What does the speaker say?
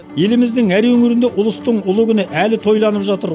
еліміздің әр өңірінде ұлыстың ұлы күні әлі тойланып жатыр